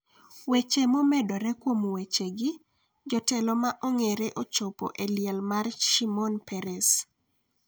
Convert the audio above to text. Weche momedore kuom wechegi. Jotelo ma ong’ere ochiopo e liel mar Shimon Peres